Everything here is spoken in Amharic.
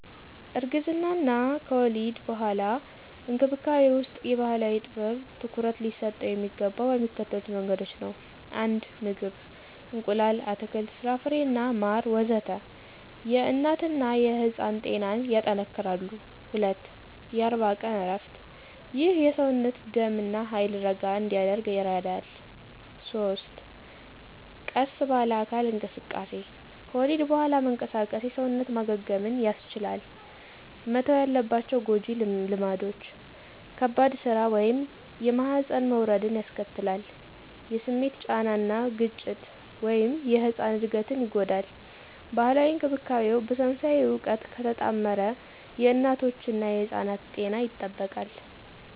እርግዝና እና ከወሊድ በኋላ እንክብካቤ ውስጥ የባህላዊ ጥበብ ትኩረት ሊሰጠው የሚገባው በሚከተሉት መንገዶች ነው 1. ምግብ – እንቁላል፣ አትክልት፣ ፍራፍሬና ማር ወዘተ... የእናትና የሕፃን ጤናን ያጠነክራሉ። 2. የ40 ቀን እረፍት – ይህ የሰውነት ደም እና ኃይል ረጋ እንዲያደርግ ይረዳል። 3. ቀስ ባለ አካል እንቅስቃሴ – ከወሊድ በኋላ መንቀሳቀስ የሰውነት ማገገምን ያስቻላል። መተው ያለባቸው ጎጂ ልማዶች - ከባድ ሥራ (የማህፀን መውረድን ያስከትላል) - የስሜት ጫና እና ግጭት (የሕጻን እድገትን ይጎዳል) ባህላዊ እንክብካቤው በሳይንሳዊ እውቀት ከተጣመረ የእናቶችና ሕጻናት ጤና ይጠበቃል።